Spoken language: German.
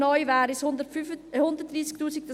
Neu wären es 130 000 Menschen.